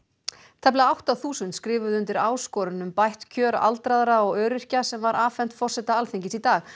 tæplega átta þúsund skrifuðu undir áskorun um bætt kjör aldraðra og öryrkja sem var afhent forseta Alþingis í dag